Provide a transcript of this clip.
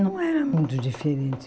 Não era muito diferente.